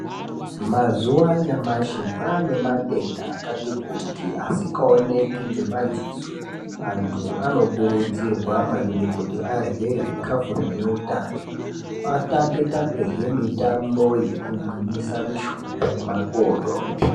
Mazuwa anyamashi kwane matenda kati kuti asikaoneki ngemadziso. Antu akokurudzirwa maningi kuti arye zvikafu zvine utano, atambe -tambe hee mitambo yekugwinyisa mishuna nemakodo.